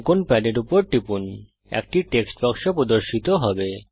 অঙ্কন প্যাডের উপর টিপুন একটি টেক্সট বাক্স প্রদর্শিত হবে